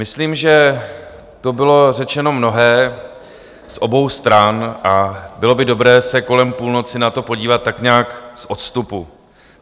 Myslím, že tu bylo řečeno mnohé z obou stran a bylo by dobré se kolem půlnoci na to podívat tak nějak z odstupu.